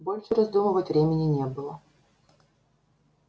больше раздумывать времени не было